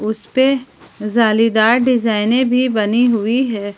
इसपे जालीदार डिजाइने भी बनी हुई है।